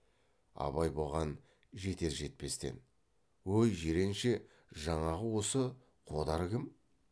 абай бұған жетер жетпестен өй жиренше жаңағы осы қодар кім